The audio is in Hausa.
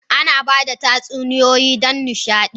Ana ba da tatsuniyoyi don nishaɗi.